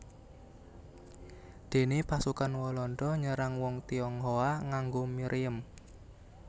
Déné pasukan Walanda nyerang wong Tionghoa nganggo mriem